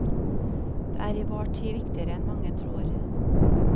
Det er i vår tid viktigere enn mange tror.